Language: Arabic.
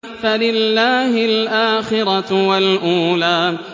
فَلِلَّهِ الْآخِرَةُ وَالْأُولَىٰ